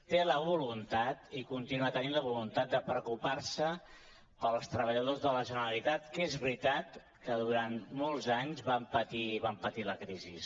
té la voluntat i continua tenint la voluntat de preocupar·se pels treballadors de la generalitat que és veritat que du·rant molts anys van patir la crisi